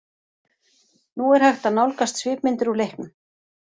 Nú er hægt að nálgast svipmyndir úr leiknum.